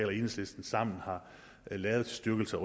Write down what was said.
og enhedslisten sammen har lavet til styrkelse